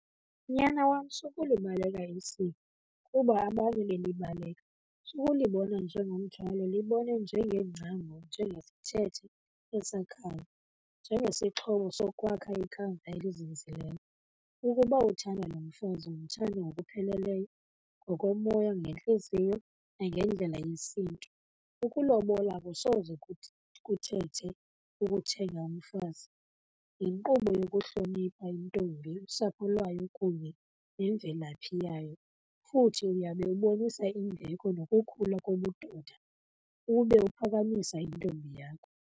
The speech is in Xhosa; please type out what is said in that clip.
Nyana wam, sukulibaleka isiko kuba abanye belibaleka. Sukulibona njengomthwalo, libone njengengcambu njengesithethe esakhayo, njengesixhobo sokwakha ikamva elizinzileyo. Ukuba uthanda lo mfazi mthande ngokupheleleyo, ngokomoya ngentliziyo nangendlela yesiNtu. Ukulobola akusoze kuthi kuthethe ukuthenga umfazi, yinkqubo yokuhlonipha intombi, usapho lwayo kunye nemvelaphi yayo, futhi uyawube ubonisa imbeko nokukhula kobudoda ube uphakamisa intombi yakho.